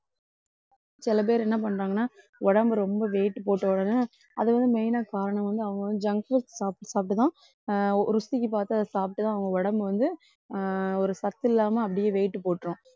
சில பேர் என்ன பண்றாங்கன்னா உடம்பு ரொம்ப weight போட்டவுடனே அதை வந்து main ஆ காரணம் வந்து அவங்க வந்து junk foods சாப்பிட்டு சாப்பிட்டுதான் அஹ் ருசிக்கு பார்த்து அதை சாப்பிட்டுதான் அவங்க உடம்பு வந்து அஹ் ஒரு சத்தில்லாம அப்படியே weight போட்டுரும்.